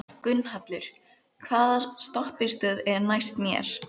Gunnhallur, hvaða stoppistöð er næst mér?